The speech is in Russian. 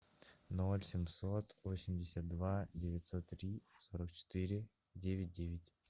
ноль семьсот восемьдесят два девятьсот три сорок четыре девять девять